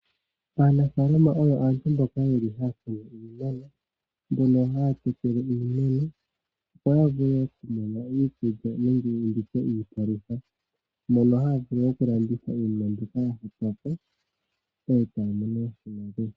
Aanafalama oyo aantu mboka yeli haya kunu iimeno, mbono haya tekele iimeno opo ya vule oku mona iikulya nenge iipalutha mono haya vulu oku landitha iinima mbyoka ya hupa po etaya mono oshimaliwa.